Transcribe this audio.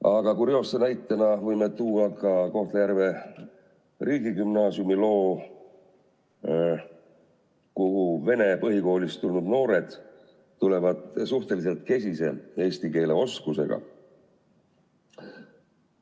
Aga kurioosse näitena võime tuua ka Kohtla-Järve Gümnaasiumi, kuhu vene põhikoolist tulnud noored tulevad suhteliselt kesise eesti keele oskusega.